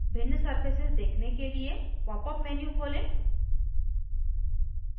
भिन्न surfaces देखने के लिए popअप menu खोलें